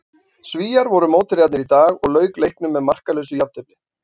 Svíar voru mótherjarnir í dag og lauk leiknum með markalausu jafntefli.